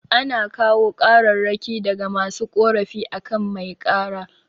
Ana kawo kararraki daga masu korafi akan mai kara